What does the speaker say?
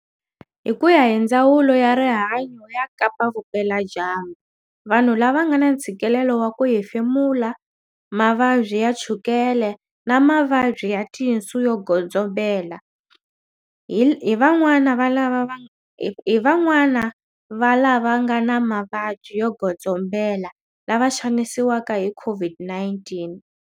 Hikuya hi Ndzawulo ya Rihanyo ya Kapa-Vupela-dyambu, vanhu lava nga na ntshikilelo wa ku hefemula, mavabyi ya chukele na mavabyi ya tinsu yo godzombela hi van'wana va lava nga na mavabyi yo godzombela lava xanisiwaka hi COVID-19.